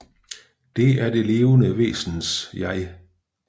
Det er det levende væsens jeg